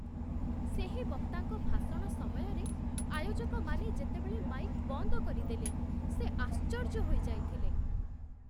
ସେହି ବକ୍ତାଙ୍କ ଭାଷଣ ସମୟରେ ଆୟୋଜକମାନେ ଯେତେବେଳେ ମାଇକ୍ ବନ୍ଦ କରିଦେଲେ ସେ ଆଶ୍ଚର୍ଯ୍ୟ ହୋଇଯାଇଥିଲେ।